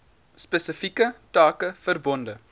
spesifieke take verbonde